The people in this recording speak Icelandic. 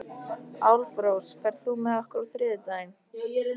Álfrós, ferð þú með okkur á þriðjudaginn?